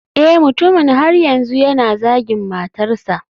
Eh mutumin har yanzu yana zagin matarsa.